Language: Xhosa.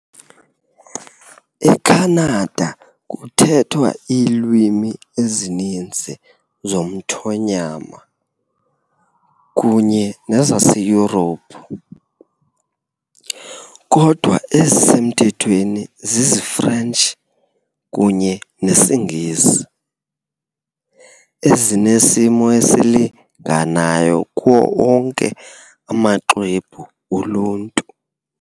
ECanada, kuthethwa iilwimi ezininzi zomthonyama kunye nezaseYurophu, kodwa ezisemthethweni ziziFrentshi kunye nesiNgesi , ezinesimo esilinganayo kuwo onke amaxwebhu oluntu